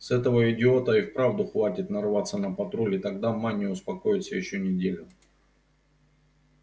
с этого идиота и вправду хватит нарваться на патруль и тогда ма не успокоится ещё неделю